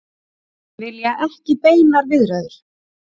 Vilja ekki beinar viðræður